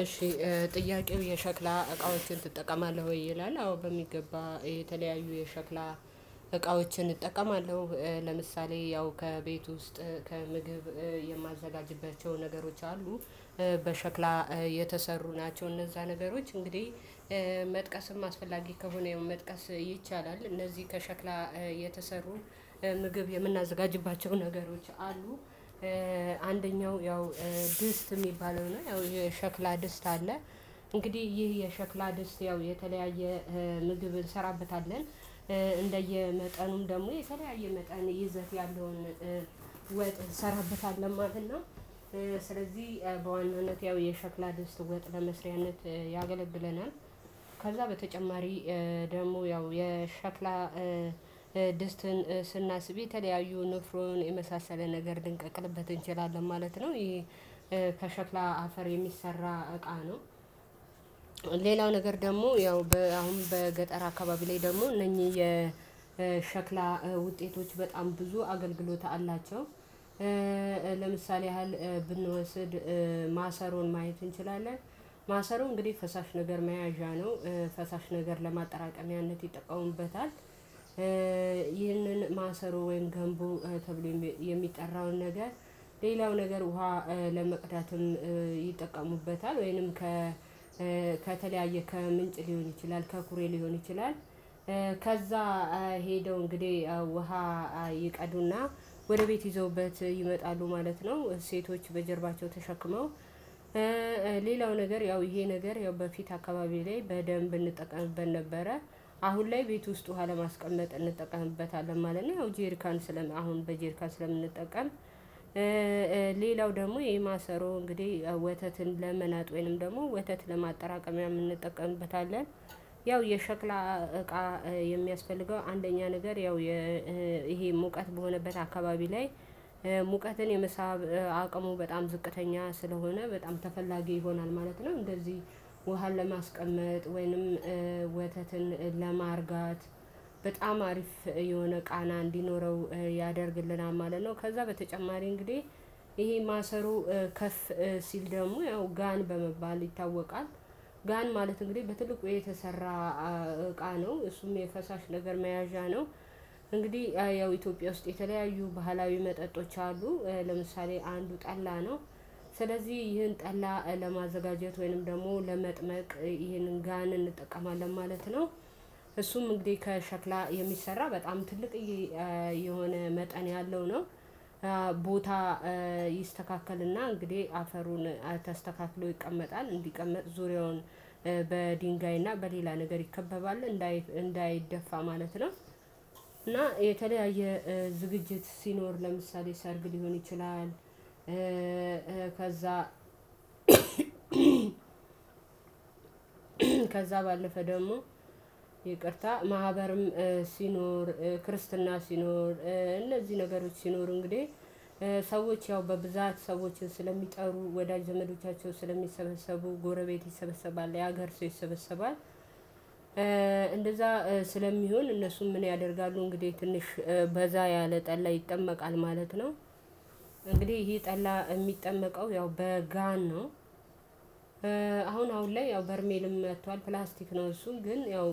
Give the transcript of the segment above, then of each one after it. እሺ። ጥያቄው የሸክላ እቃዎችን ትጠቀማለህ ወይ ይላል። አዎ በሚገባ የተለያዩ የሸክላ እቃዎችን እጠቀማለሁ። ለምሳሌ ያው ከቤት ውስጥ ከምግብ የማዘጋጅባቸው ነገሮች አሉ። በሸክላ የተሰሩ ናቸው። እነዛ ነገሮች እንግዲህ መጥቀስም አስፈላጊ ከሆነ መጥቀስ ይቻላል እነዚህ ከሸክላ የተሰሩ ምግብ የምናዘጋጅባቸው ነገሮች አሉ። አንደኛው ያው ድስት የሚባለው ነው ያው የሸክላ ድስት አለ። እንግዲህ ይህ የሸክላ ድስት ያው የተለያየ ምግብ እንሰራበታለን። እንደየመጠኑም ደግሞ የተለያየ መጠን ይዘት ያለውን ወጥ እንሰራበታለን ማለት ነው። ስለዚህ በዋናነት ያው የሸክላ ድስት ወጥ ለመስሪያነት ያገለግለናል። ከዛ በተጨማሪ ደግሞ ያው የሸክላ ድስትን ስናስብ የተለያዩ ንፍሮን የመሳሰለ ነገር ልንቀቅልበት እንችላለን ማለት ነው። ይሄ ከሸክላ አፈር የሚሰራ እቃ ነው። ሌላው ነገር ደግሞ ያው አሁን በገጠር አካባቢ ላይ ደግሞ እነኚህ የሸክላ ውጤቶች በጣም ብዙ አገልግሎት አላቸው። ለምሳሌ ያህል ብንወስድ ማሰሮን ማየት እንችላለን። ማሰሮ እንግዲህ ፈሳሽ ነገር መያዣ ነው። ፈሳሽ ነገር ለማጠራቀሚያነት ይጠቀሙበታል። ይህንን ማሰሮ ወይም ገንቦ ተብሎ የሚጠራውን ነገር ሌላው ነገር ውሃ ለመቅዳትም ይጠቀሙበታል። ወይንም ከተለያየ ከምንጭ ሊሆን ይችላል ከኩሬ ሊሆን ይችላል። ከዛ ሄደው እንግዲህ ውሃ ይቀዱና ወደ ቤት ይዘውበት ይመጣሉ ማለት ነው። ሴቶች በጀርባቸው ተሸክመው ሌላው ነገር ያው ይሄ ነገር ያው በፊት አካባቢ ላይ በደንብ እንጠቀምበት ነበረ። አሁን ላይ ቤት ውስጥ ውሃ ለማስቀመጥ እንጠቀምበታለን ማለት ነው። አሁን ጄርካን በጄርካን ስለምንጠቀም። ሌላው ደግሞ የማሰሮ እንግዲህ ወተትን ለመናጥ ወይንም ደግሞ ወተት ለማጠራቀሚያም እንጠቀምበታለን። ያው የሸክላ እቃ የሚያስፈልገው አንደኛ ነገር ያው ይሄ ሙቀት በሆነበት አካባቢ ላይ ሙቀትን የመሳብ አቅሙ በጣም ዝቅተኛ ስለሆነ በጣም ተፈላጊ ይሆናል ማለት ነው። እንደዚህ ውሃን ለማስቀመጥ ወይንም ወተትን ለማርጋት በጣም አሪፍ የሆነ ቃና እንዲኖረው ያደርግልናል ማለት ነው። ከዛ በተጨማሪ እንግዲህ ይሄ ማሰሮ ከፍ ሲል ደግሞ ያው ጋን በመባል ይታወቃል። ጋን ማለት እንግዲህ በትልቁ የተሰራ እቃ ነው እሱም የፈሳሽ ነገር መያዣ ነው። እንግዲህ ያው ኢትዮጵያ ውስጥ የተለያዩ ባህላዊ መጠጦች አሉ ለምሳሌ አንዱ ጠላ ነው። ስለዚህ ይህን ጠላ ለማዘጋጀት ወይንም ደግሞ ለመጥመቅ ይህንን ጋን እንጠቀማለን ማለት ነው። እሱም እንግዲህ ከሸክላ የሚሰራ በጣም ትልቅዬ የሆነ መጠን ያለው ነው። ቦታ ይስተካከልና እንግዲህ አፈሩን ተስተካክሎ ይቀመጣል እንዲቀመጥ ዙሪያውን በድንጋይ እና በሌላ ነገር ይከበባሉ እንዳይደፋ ማለት ነው። እና የተለያየ ዝግጅት ሲኖር ለምሳሌ ሰርግ ሊሆን ይችላል። ከዛ ከዛ ባለፈ ደግሞ ይቅርታ ማህበርም ሲኖር ክርስትና ሲኖር እነዚህ ነገሮች ሲኖሩ እንግዲህ ሰዎች ያው በብዛት ሰዎችን ስለሚጠሩ ወዳጅ ዘመዶቻቸውን ስለሚሰበሰቡ ጎረቤት ይሰበሰባል የሀገር ሰው ይሰበሰባል። እንደዛ ስለሚሆን እነሱም ምን ያደርጋሉ እንግዲህ ትንሽ በዛ ያለ ጠላ ይጠመቃል ማለት ነው። እንግዲህ ይሄ ጠላ የሚጠመቀው ያው በጋን ነው። አሁን አሁን ላይ ያው በርሜልም መቷል ፕላስቲክ ነው እሱ ግን ያው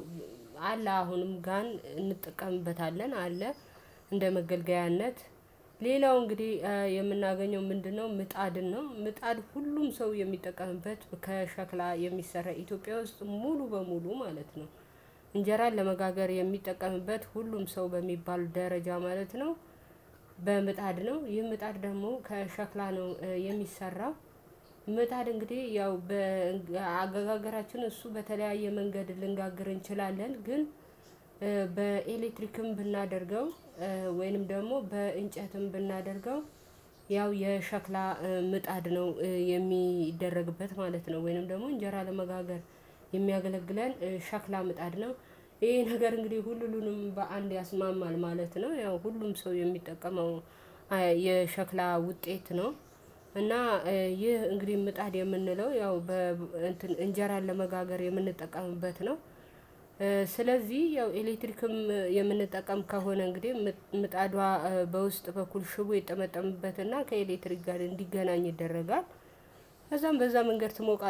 አለ አሁንም ጋን እንጠቀምበታለን አለ። እንደ መገልገያነት ሌላው እንግዲህ የምናገኘው ምንድነው? ምጣድ ነው ምጣድ ሁሉም ሰው የሚጠቀምበት ከሸክላ የሚሰራ ኢትዮጵያ ውስጥ ሙሉ በሙሉ ማለት ነው። እንጀራን ለመጋገር የሚጠቀምበት ሁሉም ሰው በሚባል ደረጃ ማለት ነው። በምጣድ ነው ይህ ምጣድ ደግሞ ከሸክላ ነው የሚሰራው። ምጣድ እንግዲህ ያው በአገጋራችን እሱ በተለያየ መንገድ ልንጋግር እንችላለን ግን በኤሌክትሪክም ብናደርገው ወይንም ደግሞ በእንጨትም ብናደርገው ያው የሸክላ ምጣድ ነው የሚደረግበት ማለት ነው። ወይንም ደግሞ እንጀራ ለመጋገር የሚያገለግለን ሸክላ ምጣድ ነው። ይሄ ነገር እንግዲህ ሁሉንም በአንድ ያስማማል ማለት ነው። ያው ሁሉም ሰው የሚጠቀመው የሸክላ ውጤት ነው። እና ይህ እንግዲህ ምጣድ የምንለው ያው በእንጀራ ለመጋገር የምንጠቀምበት ነው። ስለዚህ ያው ኤሌክትሪክም የምንጠቀም ከሆነ እንግዲህ ምጣዷ በውስጥ በኩል ሽቦ ይጠመጠምበትና ከኤሌክትሪክ ጋር እንዲገናኝ ይደረጋል። ከዛም በዛ መንገድ ትሞቃለህ